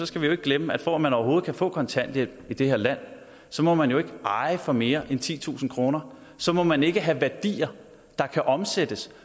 skal vi jo ikke glemme at for at man overhovedet kan få kontanthjælp i det her land så må man jo ikke eje for mere end titusind kroner så må man ikke have værdier der kan omsættes